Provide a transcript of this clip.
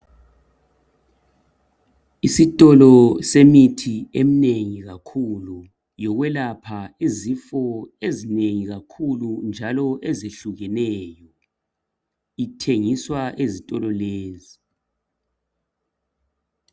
Isitolo semithi eminengi kakhulu yokwelapha izifo ezinengi kakhulu njalo ezehlukeneyo ithengiswa ezitolo lezi.